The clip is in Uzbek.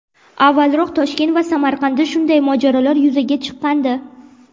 Avvalroq Toshkent va Samarqandda shunday mojarolar yuzaga chiqqandi.